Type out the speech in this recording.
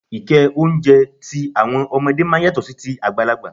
Ike oúnjẹ àti ọmọdé máa ń yàtọ̀ sí ti àgbàlagbà.